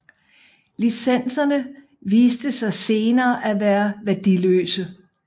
Licenserne viste sig senere at være værdiløse